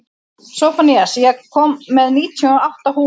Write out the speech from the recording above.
Sophanías, ég kom með níutíu og átta húfur!